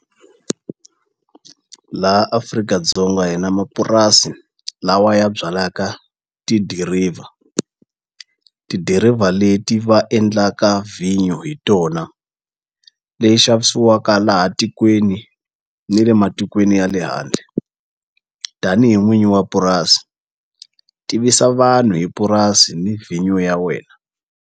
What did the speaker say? Laha Afrika-dzonga hi na mapurasi lawa ya byalaka tidiriva, tidiriva leti va endlaka vhinyo hi tona leyi xavisiwaka laha tikweni ni le matikweni ya le handle tanihi n'wini wa purasi tivisa vanhu hi purasi ni vhinyo ya wena.